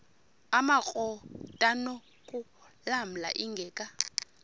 amakrot anokulamla ingeka